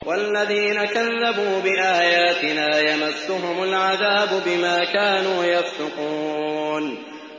وَالَّذِينَ كَذَّبُوا بِآيَاتِنَا يَمَسُّهُمُ الْعَذَابُ بِمَا كَانُوا يَفْسُقُونَ